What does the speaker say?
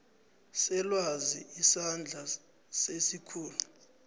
selwazi isandla sesikhulu